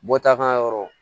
Bɔta kan yɔrɔ